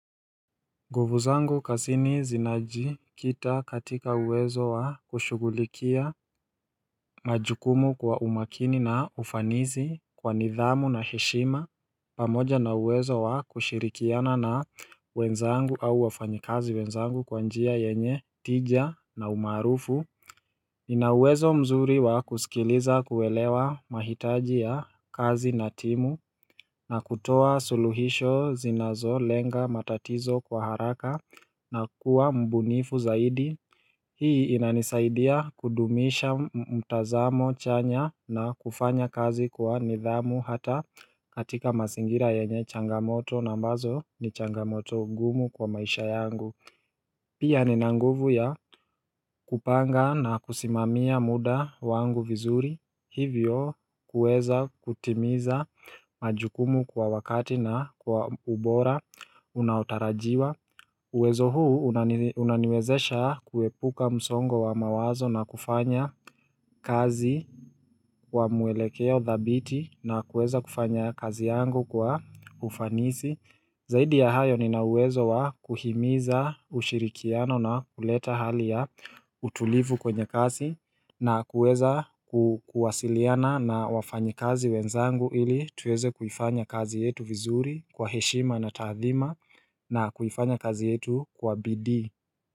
Nguvu zangu kasini zinaji kita katika uwezo wa kushughulikia majukumu kwa umakini na ufanizi kwa nidhamu na heshima. Pamoja na uwezo wa kushirikiana na wenzangu au wafanyikazi wenzangu kwa njia yenye tija na umaarufu ninauwezo mzuri wa kusikiliza kuwelewa mahitaji ya kazi na timu na kutoa suluhisho zinazo lenga matatizo kwa haraka na kuwa mbunifu zaidi. Hii inanisaidia kudumisha mtazamo chanya na kufanya kazi kwa nidhamu hata katika masingira yenye changamoto na ambazo ni changamoto ngumu kwa maisha yangu. Pia nina nguvu ya kupanga na kusimamia muda wangu vizuri hivyo kueza kutimiza majukumu kwa wakati na kwa ubora unaotarajiwa. Uwezo huu unaniwezesha kuepuka msongo wa mawazo na kufanya kazi kwa muelekeo thabiti na kueza kufanya kazi yangu kwa ufanisi. Zaidi ya hayo ninauwezo wa kuhimiza ushirikiano na kuleta hali ya utulivu kwenye kasi na kuweza kuwasiliana na wafanyi kazi wenzangu ili tuweze kuifanya kazi yetu vizuri kwa heshima na taathima na kuifanya kazi yetu kwa bidii.